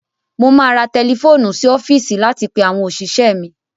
Mo máa ra tẹlifóònù sí ọfíìsì láti pe àwọn òṣìṣẹ́ mi.